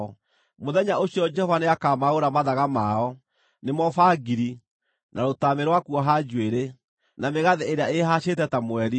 Mũthenya ũcio Jehova nĩakamaaũra mathaga mao: nĩmo bangiri, na rũtamĩ rwa kuoha njuĩrĩ, na mĩgathĩ ĩrĩa ĩĩhacĩte ta mweri,